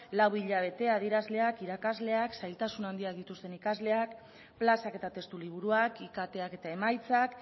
lau hilabete adierazleak irakasleak ikasleak zailtasun handiak dituzten ikasleak plazak eta testu liburuak iktak eta emaitzak